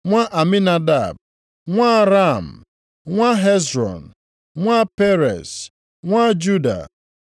nwa Aminadab, nwa Ram, + 3:33 Nʼakwụkwọ ụfọdụ i nwere ike ihu nwa Admin, nwa Anai. nwa Hezrọn, nwa Perez, nwa Juda;